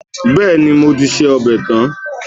Bẹ́ẹ̀ni, mo ti se ọbẹ̀ tán